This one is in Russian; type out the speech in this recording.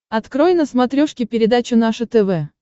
открой на смотрешке передачу наше тв